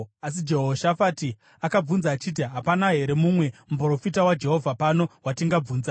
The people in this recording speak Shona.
Asi Jehoshafati akabvunza achiti, “Hapana here mumwe muprofita waJehovha pano watingabvunza?”